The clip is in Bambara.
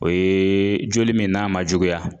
O yee joli min n'a ma juguya